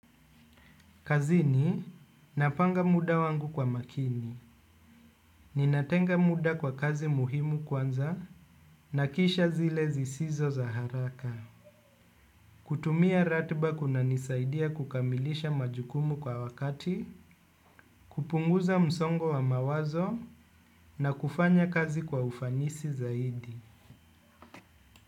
Kazini, napanga muda wangu kwa makini. Ninatenga muda kwa kazi muhimu kwanza na kisha zile zisizo za haraka. Kutumia ratiba kunanisaidia kukamilisha majukumu kwa wakati, kupunguza msongo wa mawazo na kufanya kazi kwa ufanisi zaidi.